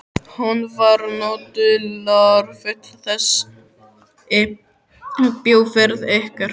Hún var nú dularfull þessi bíóferð ykkar.